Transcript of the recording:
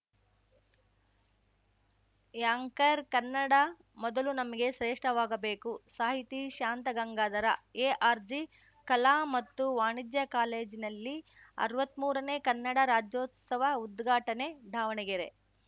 anchor Kannada ಮೊದಲು ನಮಗೆ ಶ್ರೇಷ್ಠವಾಗಬೇಕು ಸಾಹಿತಿ ಶಾಂತ ಗಂಗಾಧರ ಎಆರ್‌ಜಿ ಕಲಾ ಮತ್ತು ವಾಣಿಜ್ಯ ಕಾಲೇಜಿನಲ್ಲಿ ಅರ್ವತ್ಮೂರನೇ ಕನ್ನಡ ರಾಜ್ಯೋತ್ಸವ ಉದ್ಘಾಟನೆ ದಾವಣಗೆರೆ